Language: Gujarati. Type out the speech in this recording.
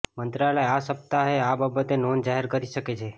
મંત્રાલય આ સપ્તાહે આ બાબતે નોંધ જાહેર કરી શકે છે